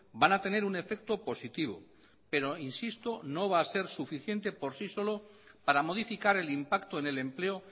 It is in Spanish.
van a tener un efecto positivo pero insisto no va a ser suficiente por sí solo para modificar el impacto en el empleo